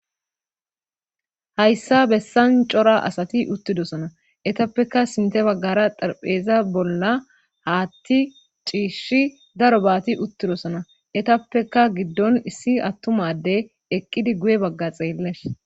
hayssa bessan cora asati uttidosona etappeka sinte baggara darpheeza bolla haatti ciishshi daro baati uttidosona etappeka giddon issi attumade eqqidi guye bagga xeelles